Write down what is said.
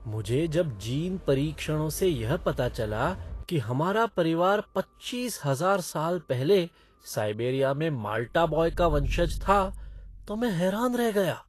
मुझे जब जीन परीक्षणों से यह पता चला कि हमारा परिवार पच्चीस हजार साल पहले साइबेरिया में माल्टा बॉय का वंशज था तो मैं हैरान रह गया।